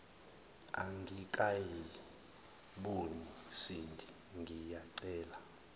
angikayiboni sindi ngiyacela